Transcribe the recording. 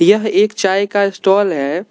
यह एक चाय का स्टाल है।